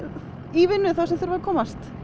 í vinnu þeim sem þurfa að komast